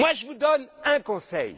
Je vous donne un conseil.